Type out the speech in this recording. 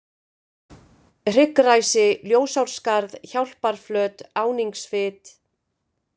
Hryggræsi, Ljósárskarð, Hjálparflöt, Áningsfit